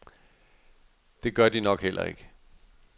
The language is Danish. Det gør de nok heller ikke.